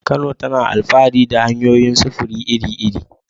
Kano tana alfahari da hanyoyin sufuri iri-iri.